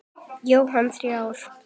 Jóhann: Þrjár?